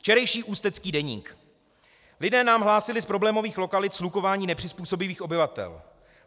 Včerejší Ústecký deník: "Lidé nám hlásili z problémových lokalit shlukování nepřizpůsobivých obyvatel.